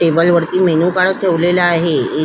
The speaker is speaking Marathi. टेबल वरती मेन्यू कार्ड ठेवलेले आहे.